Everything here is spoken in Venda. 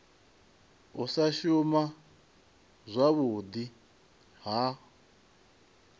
u sa shuma zwavhudi ha